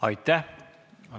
Aitäh!